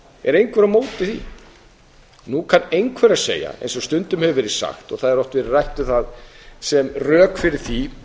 er einhver á móti því nú kann einhver að segja eins og stundum hefur verið sagt og það hefur oft verið rætt um það sem rök fyrir því